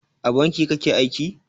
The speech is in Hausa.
A banki kake aiki?